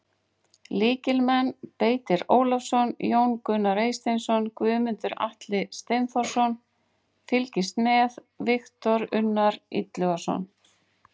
Lykilmenn: Beitir Ólafsson, Jón Gunnar Eysteinsson, Guðmundur Atli Steinþórsson: Fylgist með: Viktor Unnar Illugason.